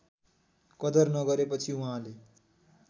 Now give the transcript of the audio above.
कदर नगरेपछि उहाँले